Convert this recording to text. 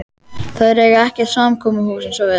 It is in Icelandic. Þeir eiga ekkert samkomuhús eins og við.